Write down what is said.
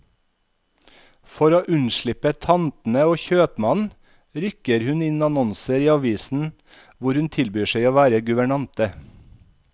For å unnslippe tantene og kjøpmannen, rykker hun inn annonser i avisen hvor hun tilbyr seg å være guvernante.